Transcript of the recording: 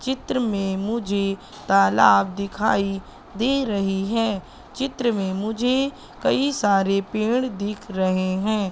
चित्र में मुझे तालाब दिखाई दे रही है चित्र में मुझे कई सारे पेड़ दिख रहे हैं।